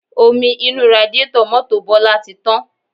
Omi inú radiátọ̀ mọ́tò Bọlá ti tán